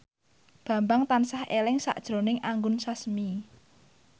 Bambang tansah eling sakjroning Anggun Sasmi